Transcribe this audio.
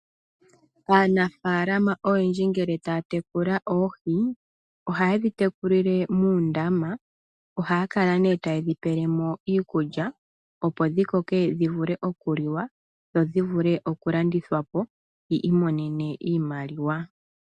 Aanafaalama oyendji ngele taya tekula oohi ohaye dhi tekulile muundama ohaya kala ne tayedhi pelemo iikulya opo dhikoke dhivule okuliwa dho dhivule okulandithwa po yiimonene iimaliwa.